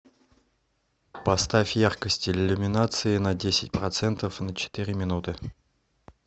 поставь яркость иллюминации на десять процентов на четыре минуты